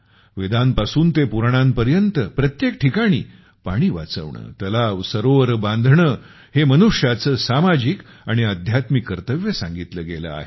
वेदांपासून ते पुराणांपर्यंत प्रत्येक ठिकाणी पाणी वाचवणे तलाव सरोवर बांधणे हे मनुष्याचे सामाजिक आणि अध्यात्मिक कर्तव्य सांगितले गेले आहे